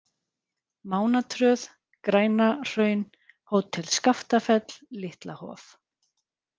Mánatröð, Grænahraun, Hótel Skaftafell, Litla Hof